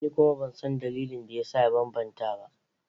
Ni kuma ban san dalilin da ya sa ya bambanta ba.